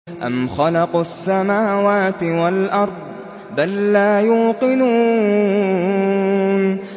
أَمْ خَلَقُوا السَّمَاوَاتِ وَالْأَرْضَ ۚ بَل لَّا يُوقِنُونَ